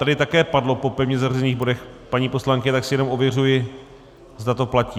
Tady také padlo po pevně zařazených bodech, paní poslankyně, tak si jenom ověřuji, zda to platí.